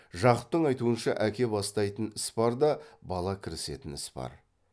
жақыптың айтуынша әке бастайтын іс бар да бала кірісетін іс бар